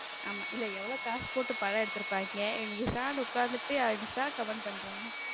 ஆமா இல்ல எவ்வளவு காசு போட்டு படம் எடுத்து இருப்பாங்க இவங்க பேசாம உக்காந்துட்டு comment பண்றாங்க.